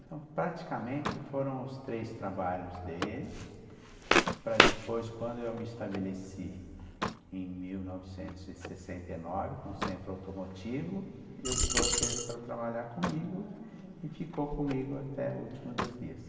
Então, praticamente, foram os três trabalhos dele, para depois, quando eu me estabeleci em mil novecentos e sessenta e nove, com o Centro Automotivo, eu trouxe ele para trabalhar comigo, ah tá, e ficou comigo até o último dos dias.